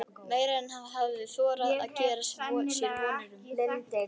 Meira en hann hafði þorað að gera sér vonir um.